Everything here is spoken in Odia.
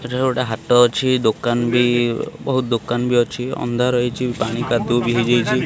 ଏଠାରେ ଗୋଟେ ହାଟ ଅଛି ଦୋକାନ ବି ବହୁତ୍ ଦୋକାନ ଭି ଅଛି ଅନ୍ଧାର ହେଇଚି ପାଣି କାଦୁଅ ଭି ହେଇଯାଇଚି।